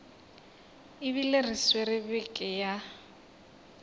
ebile re swere beke ya